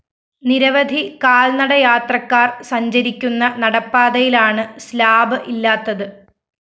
നിരവധി കാല്‍നട യാത്രക്കാര്‍ സഞ്ചരിക്കുന്ന നടപ്പാതയിലാണ് സ്ലാബ്‌ ഇല്ലാത്തത്